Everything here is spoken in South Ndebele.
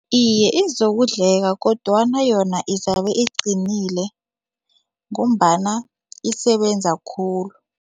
Iye, izokudleka kodwana yona izabe iqinile ngombana isebenza khulu.